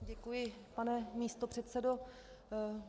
Děkuji, pane místopředsedo.